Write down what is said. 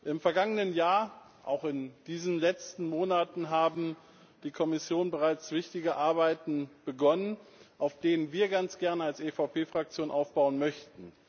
Im vergangenen Jahr, auch in diesen letzten Monaten, hat die Kommission bereits wichtige Arbeiten begonnen, auf denen wir als EVP Fraktion ganz gerne aufbauen möchten.